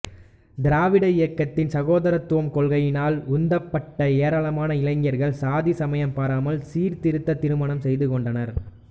திராவிட இயக்கத்தின் சகோதரத்துவக் கொள்கையினால் உந்தப்பட்ட ஏராளமான இளைஞர்கள் சாதி சமயம் பாராமல் சீர்திருத்தத் திருமணம் செய்து கொண்டனர்